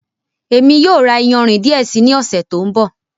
Émi yóò ra ìyánrín díẹ̀ sí ni ọsẹ̀ tó nbọ̀.